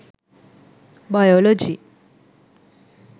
biology